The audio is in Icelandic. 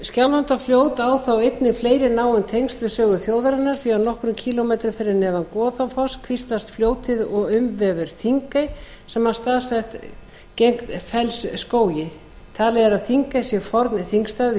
skjálfandafljót á þó einnig náin tengsl við sögu þjóðarinnar því að nokkra kílómetra fyrir neðan goðafoss kvíslast fljótið og umvefur þingey sem staðsett er gegnt fellsskógi talið er að þingey sé forn þingstaður